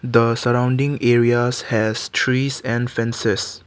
the surrounding areas has trees and fences.